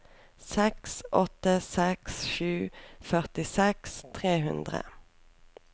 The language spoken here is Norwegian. seks åtte seks sju førtiseks tre hundre